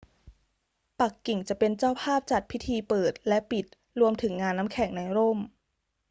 ปักกิ่งจะเป็นเจ้าภาพจัดพิธีเปิดและปิดรวมถึงงานน้ำแข็งในร่ม